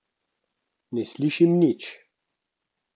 Ne slišim nič.